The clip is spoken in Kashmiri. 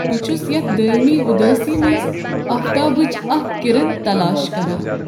بہٕ چُھس یتھ دٲیمی ادٲسی منٛز آفتابٕچ اکھ کرن تلاش کران۔